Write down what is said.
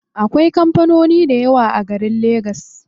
Akwai kampanoni dayawa a garin legas.